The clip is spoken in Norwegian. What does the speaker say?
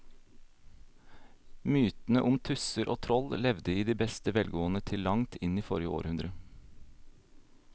Mytene om tusser og troll levde i beste velgående til langt inn i forrige århundre.